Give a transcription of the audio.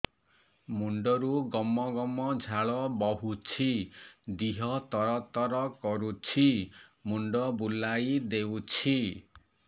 ମୁଣ୍ଡରୁ ଗମ ଗମ ଝାଳ ବହୁଛି ଦିହ ତର ତର କରୁଛି ମୁଣ୍ଡ ବୁଲାଇ ଦେଉଛି